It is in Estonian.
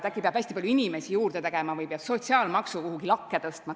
Äkki peab hästi palju inimesi juurde tegema või peab sotsiaalmaksu kuhugi lakke tõstma?